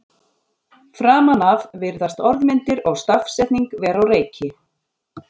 Framan af virðast orðmyndir og stafsetning vera á reiki.